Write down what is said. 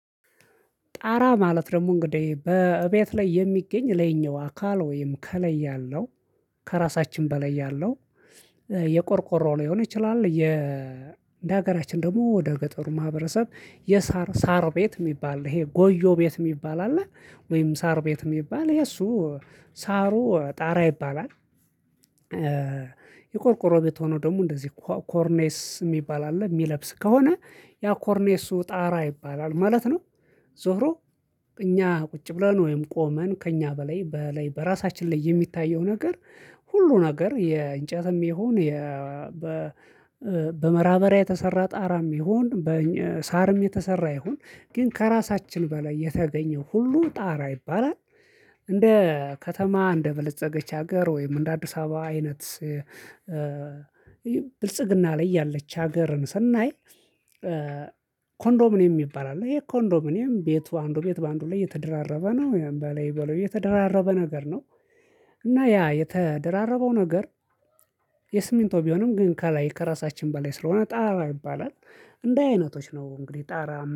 ጣራ ማለት ደግሞ እንግዲህ በእቤት ላይ የሚገኝ ለኛው አካል ወይም ከለይ ያለው ከራሳችን በላይ ያለው የቆርቆሮ ሊሆን ይችላል የ እንደ ሀገራችን ደግሞ ወደ ገጠሩ ማህበረሰብ የሳር ሳር ቤት የሚባል ይሄ ጎጆ ቤት የሚባል አለ ወይም ሳር ቤት የሚባል የሱ ሳሩ ጣራ ይባላል። የቆርቆሮ ቤት ሆኖ ደግሞ እንደዚህ ኮርኔስ የሚባል አለ የሚለብስ ከሆነ ያ ኮርኔሱ ጣራ ይባላል ማለት ነው። ዞሮ እኛ ቁጭ ብለን ወይም ቆመን ከእኛ በላይ በላይ በራሳችን ላይ የሚታየው ነገር ሁሉ ነገር የእንጨትም ይሁን በመራበሪያ የተሰራ ጣራም ይሁን በሳርም የተሰራ ይሁን ግን ከራሳችን በላይ የተገኘው ሁሉ ጣራ ይባላል። እንደ ከተማ እንደበለፀገች ሀገር ወይም እንደ አዲስ አበባ አይነት ብልጽግና ላይ ያለች ሀገርን ስናይ ኮንዶሚኒየም ይባላል። ይሄ ኮንዶሚኒየም ቤቱ አንዱ ቤት በአንዱ ላይ የተደራረበ ነው፤ በላይ በላዩ የተደራረበ ነገር ነው እና ያ የተደራረበው ነገር የስሚንቶ ቢሆንም ግን ከላይ ከራሳችን በላይ ስለሆነ ጣራ ይባላል። እንደ አይነቶች ነው እንግዲህ ጣራ